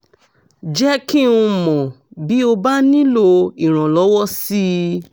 jẹ́ kí n mọ̀ bí o bá nílò ìrànlọ́wọ́ sí i